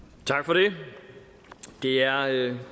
tak for det der er ikke